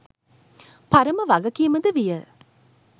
පරම වගකීම ද විය.